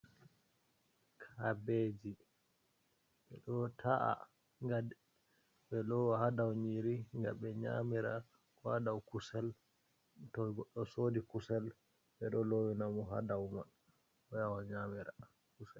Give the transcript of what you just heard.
Kabeeji, ɓe ɗo ta’a ngam ɓe lowa ha dou nyiri ga ɓe nyamira, ko ha dou kusel to goɗɗo soodi kusel ɓe ɗo lowi na mo ha dou man o yaha o nyamira kusel.